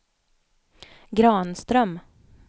Granström